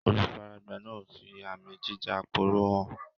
Olùfaragbá náà ń fi àmì jíja-aporó hàn